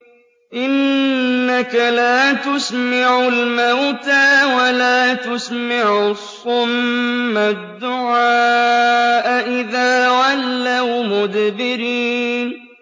إِنَّكَ لَا تُسْمِعُ الْمَوْتَىٰ وَلَا تُسْمِعُ الصُّمَّ الدُّعَاءَ إِذَا وَلَّوْا مُدْبِرِينَ